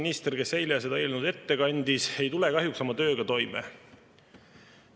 Sotsiaalkaitseminister, kes eile seda eelnõu ette kandis, ei tule kahjuks oma tööga toime.